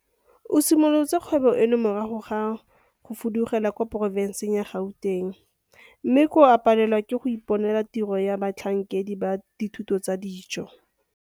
O simolotse kgwebo eno morago ga gore a fudugele kwa porofenseng ya Gauteng mme koo a palelwa ke go ka iponela tiro ya batlhankedi ba dithuto tsa dijo.